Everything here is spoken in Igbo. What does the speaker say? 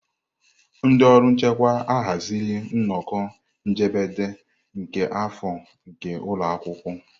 Ndị ọrụ nchịkwa ahaziri nnọkọ njedebe nke afọ nke ụlọ akwụkwọ.